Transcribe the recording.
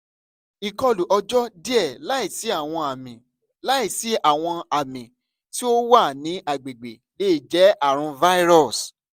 ikọlu ọjọ diẹ laisi awọn ami laisi awọn ami ti o wa ni agbegbe le jẹ arun virus